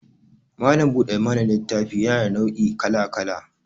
Malam buɗe mana littafi yana da nau' I kala-kala